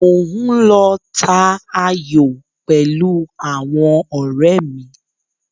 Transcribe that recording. Mò ń lọ ta ayò pẹ̀lú àwọn ọ̀rẹ́ mi.